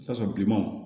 I bi t'a sɔrɔ bilenmanw